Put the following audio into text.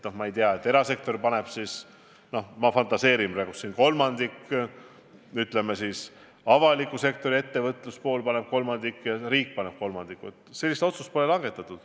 Aga et erasektor paneb sellesse – ma fantaseerin praegu – kolmandiku, avaliku sektori ettevõtluspool paneb kolmandiku ja riik paneb kolmandiku, sellist otsust pole langetatud.